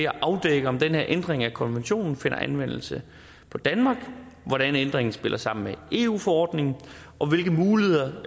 afdække om den her ændring af konventionen finder anvendelse for danmark hvordan ændringen spiller sammen med eu forordningen og hvilke muligheder